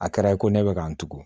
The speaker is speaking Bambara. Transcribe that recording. A kɛra i ko ne bɛ ka n tugun